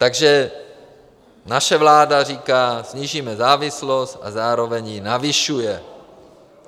- Takže naše vláda říká, snížíme závislost, a zároveň ji navyšuje.